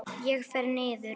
Ég fer niður.